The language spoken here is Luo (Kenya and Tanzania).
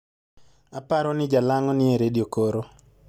apari ni jalango ni e redio koro